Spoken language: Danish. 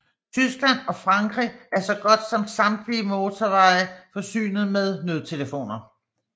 Tyskland og Frankrig er så godt som samtlige motorveje forsynet med nødtelefoner